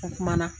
A kuma na